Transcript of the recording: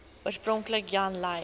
oorspronklik jan lui